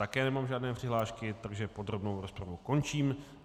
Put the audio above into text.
Také nemám žádné přihlášky, takže podrobnou rozpravu končím.